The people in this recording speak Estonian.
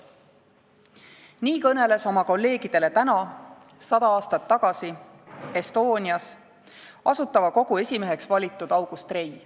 " Nii kõneles oma kolleegidele täna sada aastat tagasi Estonias Asutava Kogu esimeheks valitud August Rei.